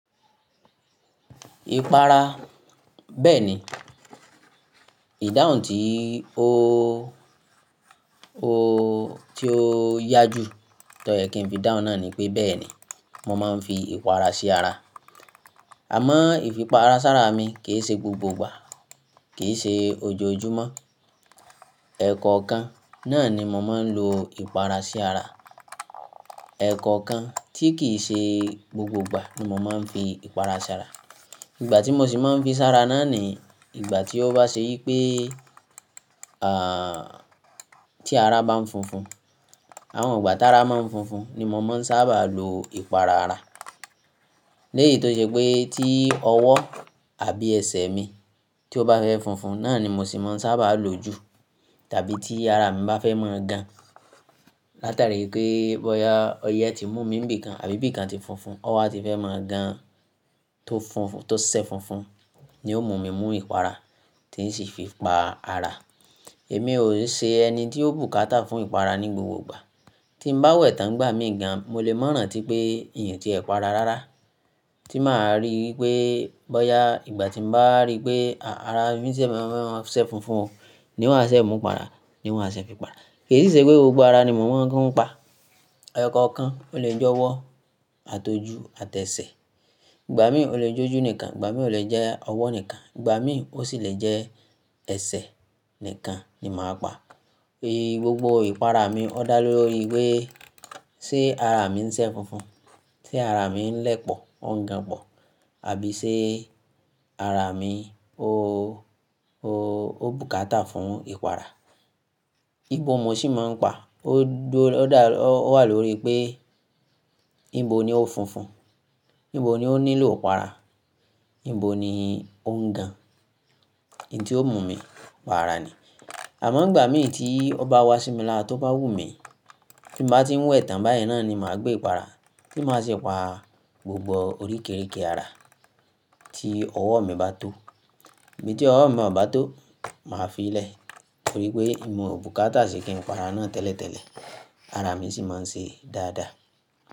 Ìpara. Bẹ́ẹ̀ni, ìdáhùn tí ó yá jù tọ́ yẹ kí n fi dáhùn náà ni pé bẹ́ẹ̀ni mo máa ń fi ìpara sí ara. Àmọ́ ìfipara sára mi kì í ṣe gbogbo ìgbà, kì í ṣe ojoojúmọ́. Ẹ̀kọ̀kan náà ni mo máa ń lo ìpara sí ara. Ẹ̀kọ̀kan tí kì í ṣe gbogbo ìgbà ni mo máa ń fi ìpara sí ara. Ìgbà tí mo sì máa ń fi sí ara náà ni ìgbà tí ó bá ṣe wípé, tí ara bá ń funfun, àwọn ìgbà tára máa ń funfun ni mo máa ń sábà lo ìpara ara. Lẹ́yì tó ṣe pé tí ọwọ́ àbí ẹsẹ̀ mi tí ó bá fẹ́ funfun náà ni mo sì máa ń sábà lò jù tàbí tí ara mi bá fẹ́ máa gan. Látàrí pé bọ́ya ọyẹ ti mú mi ńibì kan, àbí bì kan ti funfun, o wa ti fẹ́ máa gan tó funfun, tó ṣẹ funfun ni ó mú mi mu ìpara tí ń sì fi pa ara. Èmi ò ṣe ẹni tí ó bùkátà fún ìpara ní gbogbo ìgbà. Tí n bá wẹ̀ tán nìgbà míì gan, mo lè mọ́ ràntí pé un o ti ẹ para rárá. Tí màá rí wípé bọ́ya ìgbà tí mo bá rí pé ara mi ti fẹ́ máa ṣẹ funfun o ni n wa á ṣe mú ìpara, ni n wa á ṣe fi pa ara. Kì si ṣe pé gbogbo ara ni mo máa tuń pa. Ẹ̀kọ̀kan, ó lè jẹ́ ọwọ́, àtojú àti ẹsẹ̀. Ìgbà míì ó lè jẹ́ ojú nìkan, ìgbà míì ó lè jẹ́ ọwọ́ nìkan, ìgbà míì ó sì lè jẹ́ ẹsẹ̀ nìkan ni màá pa. Gbogbo ìpara mi ó dá lórí wí ṣe ara mi ń ṣẹ funfun, ṣe ara mi ń lẹpọ̀, oun gan pọ̀, àbí ṣe ara mi ó bùkátà fún ìpara. Ibo mo sì máa ń pa, ó dá, ó wà lórí pé ibo ni ó funfun, ibo ni ó nílò ìpara, ibo ni ó ń gan. In tí ó mú mi pa ara ni. Àmọ́ ìgbà míì tí ó bá wá sí mi lára ti ó bá wù mí, tí n bá ti ń wẹ̀ tán báyìí náà ni màá gbé ìpara, tí màá sì pa gbogbo oríkérike ara tí ọwọ́ mi bá tó. Ibí tí ọwọ́ mi ò bá tó, màá fi ilẹ̀ torí pé emi ò bùkátà sí kí n para náà tẹ́lẹ̀tẹ́lẹ̀. Ara mi sì máa ń ṣe dáadáa.